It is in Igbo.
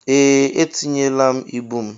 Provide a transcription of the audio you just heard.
Ee, etinye la ịbụ m.